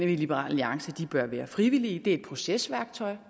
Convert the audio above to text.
liberal alliance bør være frivillige det er et procesværktøj